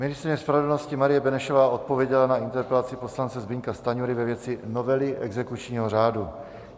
Ministryně spravedlnosti Marie Benešová odpověděla na interpelaci poslance Zbyňka Stanjury ve věci novely exekučního řádu.